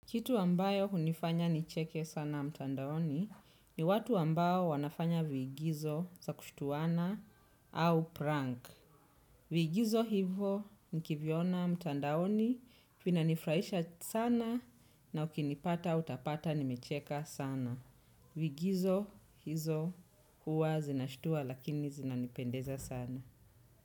Kitu ambayo hunifanya nicheke sana mtandaoni ni watu ambayo wanafanya viigizo za kushituana au prank. Viigizo hivo nikiviona mtandaoni vina nifurahisha sana na ukinipata utapata nimecheke sana. Viigizo hizo huwa zinashutua lakini zinanipendeza sana.